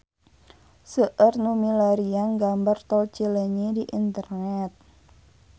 Seueur nu milarian gambar Tol Cileunyi di internet